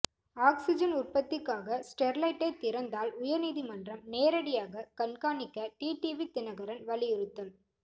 oxygen உற்பத்திக்காக ஸ்டெர்லைட்டை திறந்தால் உயர்நீதிமன்றம் நேரடியாக கண்காணிக்க டிடிவி தினகரன் வலியுறுத்தல்